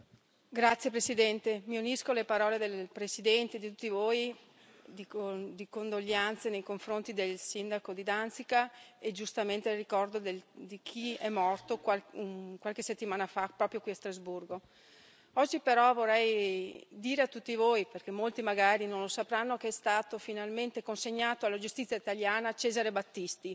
Signor Presidente, onorevoli colleghi, mi unisco alle parole del Presidente e di tutti voi, di condoglianze nei confronti del sindaco di Danzica e, giustamente, ricordo chi è morto qualche settimana fa proprio qui a Strasburgo. Oggi però vorrei dire a tutti voi, perché molti magari non lo sapranno, che è stato finalmente consegnato alla giustizia italiana Cesare Battisti,